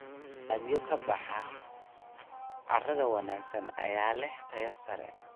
Dalagyada ka baxa carrada wanaagsan ayaa leh tayo sare.